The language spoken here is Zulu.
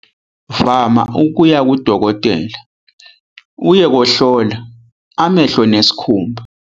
Vama ukuya kudokotela uye kohlola amehlo nesikhumba.